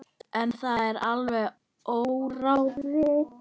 En það er alveg óráðið.